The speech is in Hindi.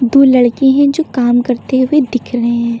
दो लड़के हैं जो काम करते हुए दिख रहे हैं।